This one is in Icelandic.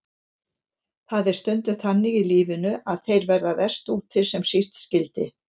Það er stundum þannig í lífinu að þeir verða verst úti sem síst skyldi.